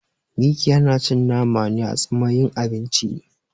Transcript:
Mikiya na cin nama ne a tsamayin abinci